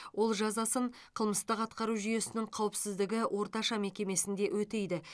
ол жазасын қылмыстық атқару жүйесінің қауіпсіздігі орташа мекемесінде өтейді